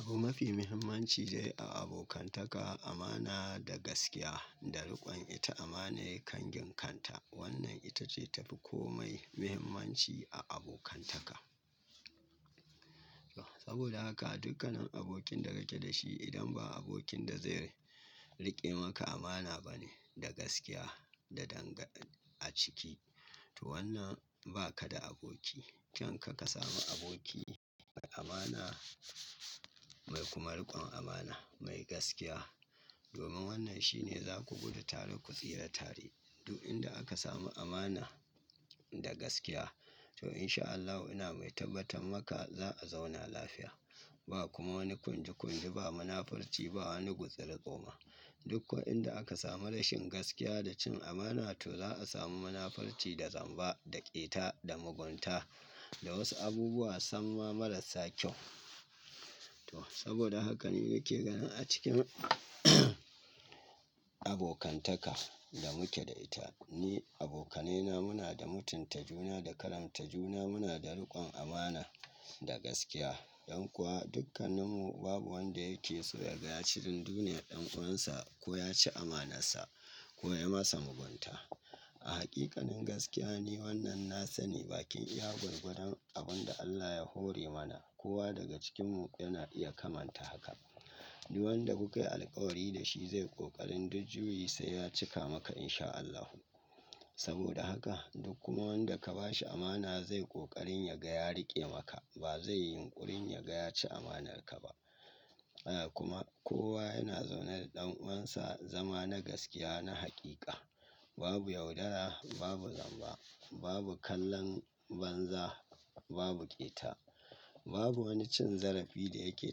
Abu mafi muhimmanci zai a abokantaka, amana da gaskiya da rikon ita amane kan ginkanta. Wannan ita ce tafi komai muhimmanci a abokantaka. Saboda haka dukkanin abokin da nake da shi idan ba abokin da zai, rike maka amana bane da gaskiya da danga a ciki, toh, wannan ba ka da aboki. Kanka ka samu aboki mai amana, mai kuma rikon amana, mai gaskiya, domin wannan shi ne za ku gudu tare ku tsira tare. Duk inda aka samu amana da gaskiya, to insha Allahu ina mai tabbatar maka za a zauna lafiya. Ba kuma wani kunji kunji, ba munafurci, ba wani gutsirgo ma. Duk ko'inda aka samu rashin gaskiya da cin amana to za a samu munafurci da zamba, da ƙeta, da mugunta, da wasu abubuwa sam ma marasa kyau. Toh saboda haka ni nake ganin a cikin abokantaka da muke da ita, ni abokanena muna da mutunta juna da karamta juna, muna da rikon amana da gaskiya. Don kuwa dukkaninmu babu wanda yake so ya ga ya ci dun duniya ɗan uwansa ko ya ci amanan sa ko ya masa mugunta. A hakikanin gaskiya ne wannan na sani bakin iya gwargwadan abin da Allah ya hore mana. Kowa daga cikinmu yana iya kamanta haka. Duk wanda kuka yi alkawari da shi zai ƙoƙarin duk juyi sai ya cika maka insha Allahu. Saboda haka duk kuma wanda ka ba shi amana zai ƙoƙarin ya ga ya riƙe maka. Ba zai yi yunƙurin ya ga ya ci amanarka ba. Eh kuma kowa yana zaune da ɗan uwansa zama na gaskiya na haqiqa. Babu yaudara, babu zamba, babu kallon banza, babu ƙeta. Babu wani cin zarafi da yake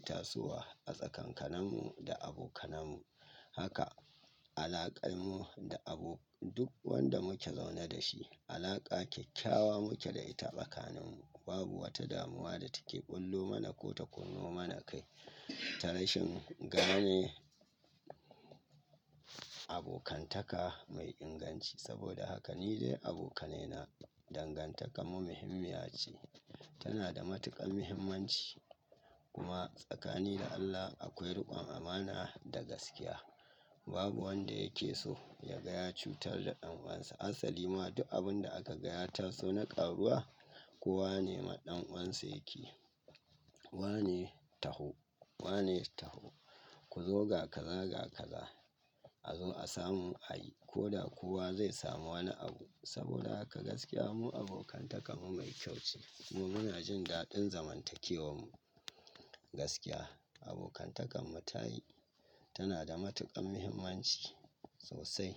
tasowa a tsakankaninmu da abokananmu. Haka alaƙar mu da abu duk wanda muke zaune da shi, alaƙa kyakkyawa muke da ita. Tsakaninmu babu wata damuwa da take bullo mana ko ta kunno mana kai. Ta rashin gane, abokantaka mai inganci. Saboda haka ni dai abokanena dangantakar mu muhimmiya ce. Tana da matuƙan muhimmanci. Kuma tsakanin ni da Allah akwai riƙon amana da gaskiya. Babu wanda yake so ya ga ya cutar da ɗan uwansa. Asali ma duk abin da aka ga ya taso na ƙaruwa, kowa ne ma ɗan uwansa yake. Wane taho, wane taho. Ku zo ga kazza, ga kazza. A zo a samu a yi, ko da kowa zai samu wanni abu. Saboda haka gaskiya mu abokantakar mu mai kyau ce. Mu muna jin daddin zamantakewan mu. Gaskiya, toh abokantakanmu ta yi. Tana da matuƙan muhimmanci sosai.